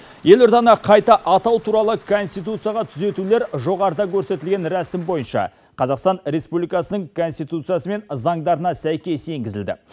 елорданы қайта атау туралы конституцияға түзетулер жоғарыда көрсетілген рәсім бойынша қазақстан республикасының конституциясы мен заңдарына сәйкес енгізілді